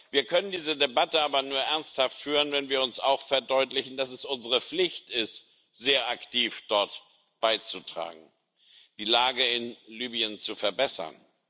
Wir können diese Debatte aber nur ernsthaft führen, wenn wir uns auch verdeutlichen, dass es unsere Pflicht ist, sehr aktiv dort beizutragen, die Lage in Libyen zu verbessern.